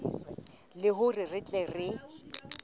le hore re tle re